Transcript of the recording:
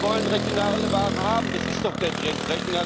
Die Kunden wollen regionale Waren haben das ist doch der Trend!